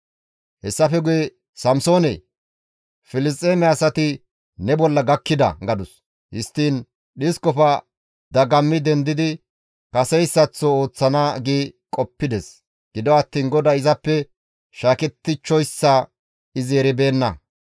Hessafe guye, «Samsoonee! Filisxeeme asati ne bolla gakkida!» gadus; histtiin dhiskofe dagammi dendidi kaseyssaththo ooththana gi qoppides; gido attiin GODAY izappe shaakettichchoyssa izi eribeenna.